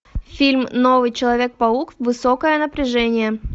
фильм новый человек паук высокое напряжение